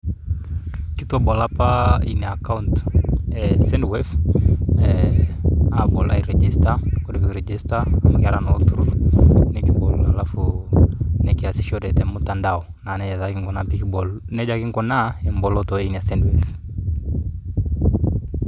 Kitabolo apa ina akaunt e sendwave aabol airejisita, ore epeyie kibol airejisita amu kiata naa olturur nikibol alafu nikiasishore temutandao. Nejia kinguna emboloto eina send wave